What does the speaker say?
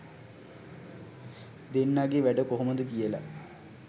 දෙන්නගෙ වැඩ කොහොමද කියල.